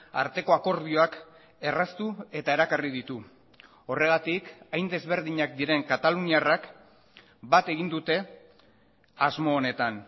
arteko akordioak erraztu eta erakarri ditu horregatik hain desberdinak diren kataluniarrak bat egin dute asmo honetan